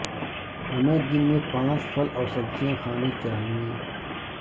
ہمیں دن میں پانچ پھل اور سبزیاں کھانے چاہیئیں